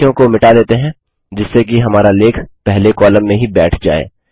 कुछ वाक्यों को मिटा देते हैं जिससे कि हमारा लेख पहले कॉलम में ही बैठ जाए